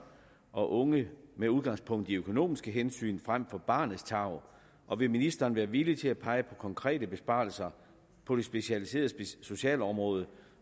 og unge med udgangspunkt i økonomiske hensyn frem for barnets tarv og vil ministeren være villig til at pege på konkrete besparelser på det specialiserede socialområde